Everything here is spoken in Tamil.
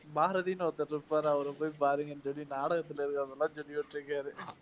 பாரதின்னு ஒருத்தர் இருப்பாரு அவரைப் போய் பாருங்கன்னு சொல்லி நாடகத்துல இருக்கவங்க மாதிரி